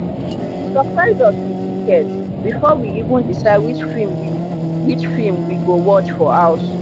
she surprise us with tickets before we even decide which film we which film we go watch for house.